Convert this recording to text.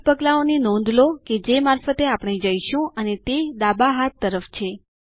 8 પગલાંઓની નોંધ લો કે જે મારફતે આપણે જઈશું અને તે ડાબા હાથ તરફ છે